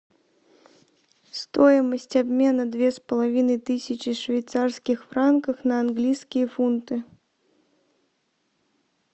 стоимость обмена две с половиной тысячи швейцарских франков на английские фунты